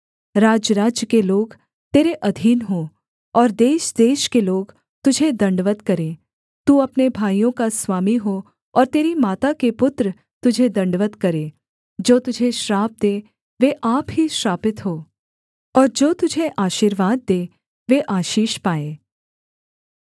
राज्यराज्य के लोग तेरे अधीन हों और देशदेश के लोग तुझे दण्डवत् करें तू अपने भाइयों का स्वामी हो और तेरी माता के पुत्र तुझे दण्डवत् करें जो तुझे श्राप दें वे आप ही श्रापित हों और जो तुझे आशीर्वाद दें वे आशीष पाएँ